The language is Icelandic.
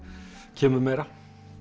kemur meira